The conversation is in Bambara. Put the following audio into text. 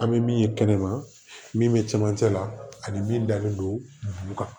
An bɛ min ye kɛnɛma min bɛ cɛmancɛ la ani min dalen don bu kan